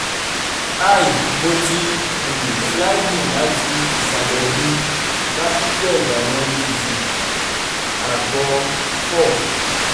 hi mo ti um sliding lati isalẹ mi carpeted awọn ibùsùn abo four